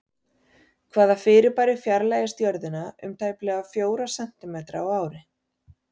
Hvaða fyrirbæri fjarlægist Jörðina um tæplega fjóra sentímetra á ári?